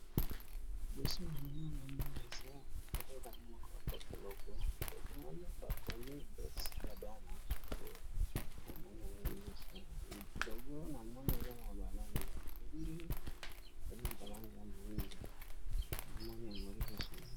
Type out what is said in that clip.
Poso na ma ngomii eza bkeka a moka a poto logo lobwana bakomi doxida bana pe na monano liboso logo na mono eza na balong ya penbe pe na balonga ya moindo na mone a moli sos.